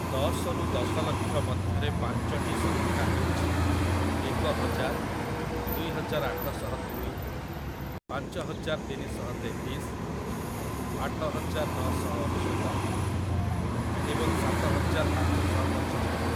ଦଶରୁ ଦଶଲକ୍ଷ ମଧ୍ୟରେ ପାଞ୍ଚଟି ସଂଖ୍ୟା ହେଉଛି ଏକହଜାର, ଦୁଇହଜାର ଆଠଶହ ଦୁଇ, ପାଞ୍ଚହଜାର ତିନିଶହ ତେତିଶ, ଆଠହଜାର ନଅଶହ ଅନେଶ୍ଵତ ଏବଂ ସାତହଜାର ପାଞ୍ଚଶହ ପଞ୍ଚସ୍ତରୀ ।